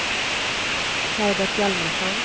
Herbert Hjalmarsson